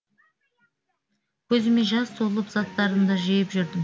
көзіме жас толып заттарымды жиып жүрдім